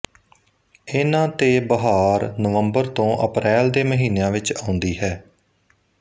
ਇਹਨਾਂ ਤੇ ਬਹਾਰ ਨਵੰਬਰ ਤੋਂ ਅਪਰੈਲ ਦੇ ਮਹੀਨਿਆਂ ਵਿੱਚ ਆਉਂਦੀ ਹੈ